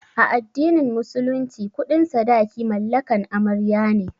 A addinin musulunci kuɗin sadaki mallakan amarya ne